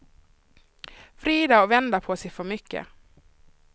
Vrider och vänder på sig för mycket.